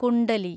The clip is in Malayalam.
കുണ്ഡലി